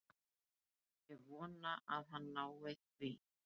Ég vona að hann nái því.